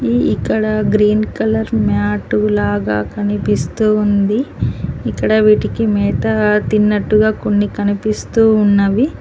ఇక్కడ green colour mat లాగా కనిపిస్తూ ఉంది ఇక్కడ వీటికి మేత తిన్నట్టుగా కొన్ని కనిపిస్తూ ఉన్నవి.